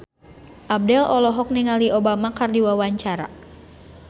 Abdel olohok ningali Obama keur diwawancara